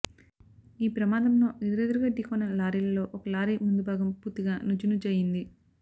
ఈ ప్రమాదంలో ఎదురెదురుగా ఢీకొన్న లారీలలో ఒక లారీ ముందు భాగం పూర్తిగా నుజ్జునజ్జయింది